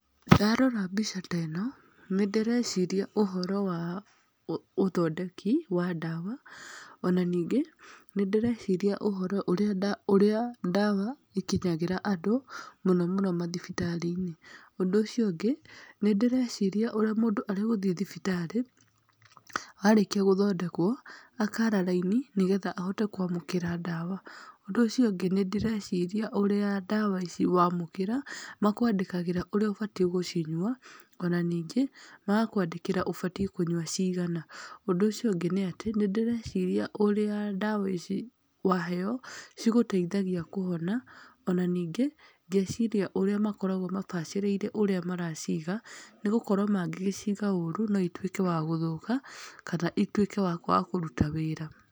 Ndarora mbica ta ĩno, nĩ ndĩreciria ũhoro wa ũthondeki wa ndawa, ona ningĩ, nĩndĩreciria ũhoro ũrĩa ndawa ikinyagĩra andũ mũno mũno mathibitarĩ-inĩ. Ũndũ ũcio ũngĩ, nĩndĩreciria ũrĩa mũndũ arĩ gũthiĩ thibitarĩ, arĩkia gũthondekwo, akara raini, nĩgetha ahote kwamũkĩra ndawa, ũndũ ũcio ũngĩ, nĩ ndĩreciria ũrĩa ndawa ici wamũkĩra, makwandĩkagĩra ũrĩa ũbatiĩ gũcinyua, ona ningĩ magakwandĩkĩra ũbatiĩ kũnyua cigana, ũndũ ũcio ũngĩ nĩ atĩ, nĩ ndĩreciria ũrĩa ndawa ici waheyo cigũteithagia kũhona, ona ningĩ, ngeciria ũrĩa makoragwo mabacĩrĩire ũrĩa maraciga, nĩ gũkorwo mangĩgĩciga ũru, no ituĩke wa gũthũka, kana ituĩke wa kwaga kũruta wĩra.